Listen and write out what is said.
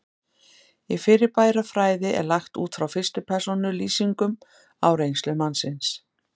Í fyrirbærafræði er lagt út frá fyrstu persónu lýsingum á reynslu mannsins.